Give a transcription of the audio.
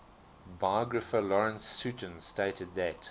biographer lawrence sutin stated that